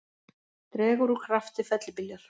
Dregur úr krafti fellibyljar